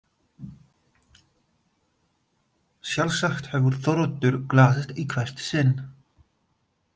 Sjálfsagt hefur Þóroddur glaðst í hvert sinn.